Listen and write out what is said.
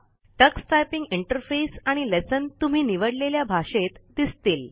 Tux typing interface आणि lesson तुम्ही निवडलेल्या भाषेत दिसतील